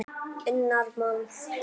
unnar mann.